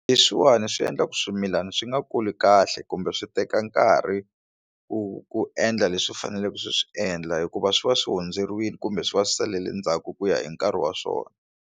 Leswiwani swi endla ku swimilana swi nga kuli kahle kumbe swi teka nkarhi ku ku endla leswi faneleke swi swi endla hikuva swi va swi hundzeriwile kumbe swi va swi salele ndzhaku ku ya hi nkarhi wa swona.